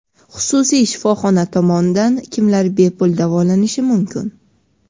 Xususiy shifoxona tomonidan kimlar bepul davolanishi mumkin?.